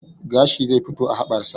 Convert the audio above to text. Gashi zai fito a haɓar sa